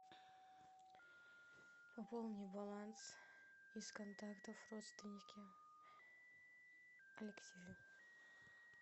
пополни баланс из контактов родственники алексею